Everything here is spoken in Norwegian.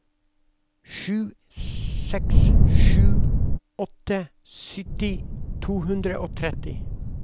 sju seks sju åtte sytti to hundre og tretti